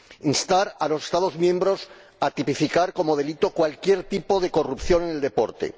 instar a los Estados miembros a tipificar como delito cualquier tipo de corrupción en el deporte